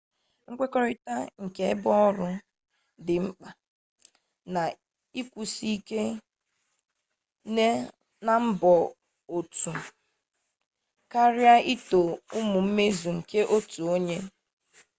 nkwekorita nke ebe oru di nkpa na-ekwusi ike na mbọ otu karịa ito ụmụ mmezu nke otu onye